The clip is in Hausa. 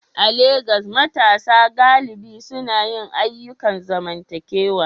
A Legas, matasa galibi suna yin ayyukan zamantakewa